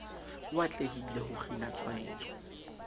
o atlehile ho kgina tshwaetso